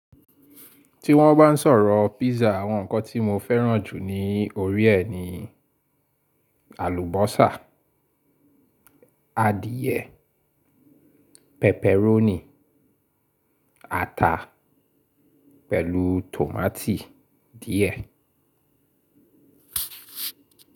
Ti wọ́n bá n sọ̀rọ̀ pizza, àwọn nǹkan tí mo fẹ́ràn jù ní orí ẹ ni alubosa, adìẹ, pepperoni, ata pẹ̀lú tòmátì díẹ̀.